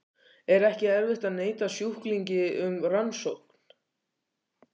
Er ekki erfitt að neita sjúklingi um rannsókn?